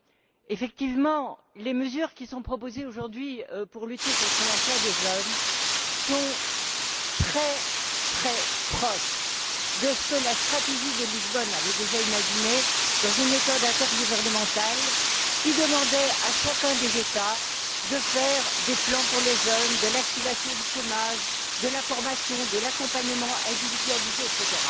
En effet, les mesures qui sont proposées aujourd'hui en faveur de l'emploi des jeunes sont vraiment très proches de ce que la stratégie de Lisbonne avait déjà imaginé, dans une méthode intergouvernementale qui demandait à chacun des États de faire des plans pour les jeunes, de l'activation du chômage, de la formation, de l'accompagnement individualisé, etc.